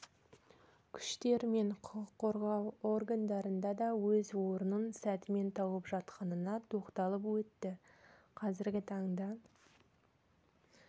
күштер мен құқық қорғау орындарында да өз орнын сәтімен тауып жатқанына тоқталып өтті қазіргі таңда